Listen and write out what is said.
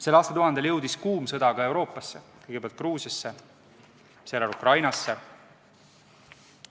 Sel aastatuhandel jõudis kuum sõda ka Euroopasse, kõigepealt Gruusiasse ja seejärel Ukrainasse.